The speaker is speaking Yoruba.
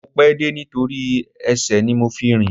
Mo pẹ́ dé nítorí ẹsẹ̀ ni mo fi rìn